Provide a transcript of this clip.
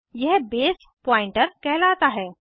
यह base pointer कहलाता है